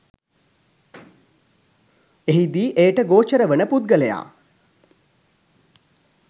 එහිදී එයට ගෝචර වන පුද්ගලයා